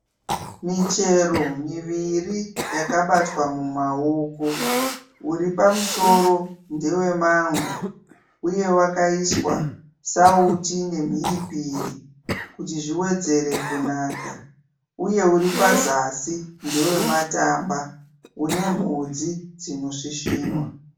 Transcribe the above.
Michero miviri yakabatwa mumaoko. Uri pamusoro ndewe mango uye wakaiswa sauti nemhiripiri kuti zviwedzere kunaka uye uri pazasi ndewe matamba une mhodzi dzinosvisvinwa.